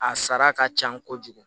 A sara ka can kojugu